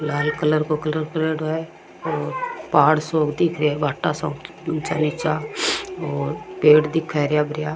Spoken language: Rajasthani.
लाल कलर को कलर करेडो है और पहाड़ सो क दिख रियो है भाटा सा ऊचा निचा और पेड़ दिखे हरिया भरिया।